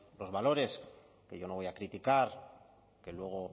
los valores que yo no voy a criticar que luego